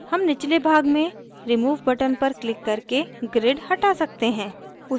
हम निचले भाग में remove button पर क्लिक करके grid हटा सकते हैं